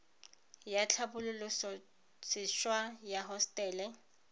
ya tlhabololose wa ya hosetele